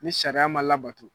Ni sariya ma labato.